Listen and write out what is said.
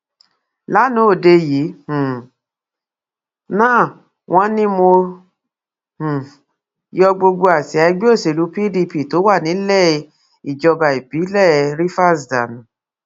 lanaa òde yìí um náà wọn ní mo um yọ gbogbo àsíá ẹgbẹ òsèlú pdp tó wà nílẹ ìjọba ìpínlẹ rivers dànù